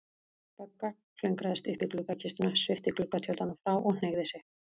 Bogga klöngraðist upp í gluggakistuna, svipti gluggatjöldunum frá og hneigði sig.